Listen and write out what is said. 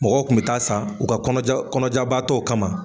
Mɔgɔw kun bi taa san u ka kɔnɔjabaatɔw kama.